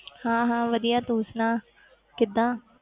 ਹਾਂ ਹਾਂ ਵਧੀਆ ਤੂੰ ਸੁਣਾ ਕਿੱਦਾਂ?